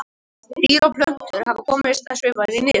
Dýr og plöntur hafa komist að svipaðri niðurstöðu.